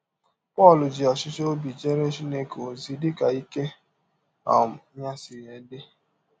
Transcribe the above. Pọl ji ọchịchọ ọbi jeere Chineke ọzi dị ka ike um ya si dị